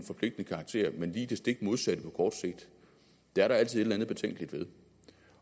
forpligtende karakter men lige det stik modsatte det er der altid et eller andet betænkeligt ved